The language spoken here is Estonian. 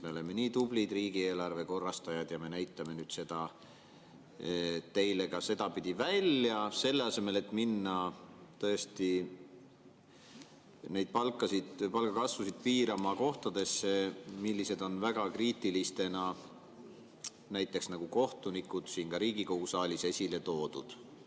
Me oleme nii tublid riigieelarve korrastajad ja me näitame nüüd seda teile ka sedapidi välja, selle asemel et minna piirama palgakasvu valdkondades, mis on väga kriitilised, näiteks nagu kohtunikud, kes on ka Riigikogu saalis esile toodud.